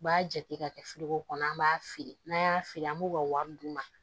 U b'a jate ka kɛ kɔnɔ an b'a feere n'an y'a feere an b'u ka wari d'u ma